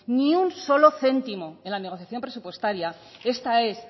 ni un solo céntimo en la negociación presupuestaria esta es